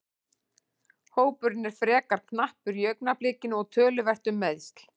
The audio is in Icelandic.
Hópurinn er frekar knappur í augnablikinu og töluvert um meiðsl.